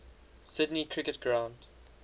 sydney cricket ground